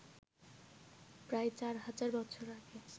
প্রায় ৪ হাজার বছর আগে